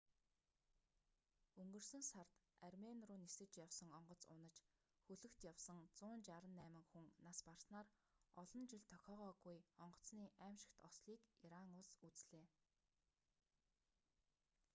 өнгөрсөн сард армени руу нисэж явсан онгоц унаж хөлөгт явсан 168 хүн нас барснаар олон жил тохиогоогүй онгоцны аймшигт ослыг иран улс үзлээ